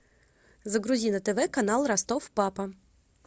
загрузи на тв канал ростов папа